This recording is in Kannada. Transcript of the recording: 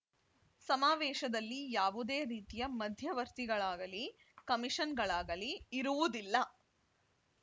ಸಮಾವೇಶದಲ್ಲಿ ಯಾವುದೇ ರೀತಿಯ ಮಧ್ಯವರ್ತಿಗಳಾಗಲೀ ಕಮಿಷನ್‌ಗಳಾಗಲಿ ಇರುವುದಿಲ್ಲ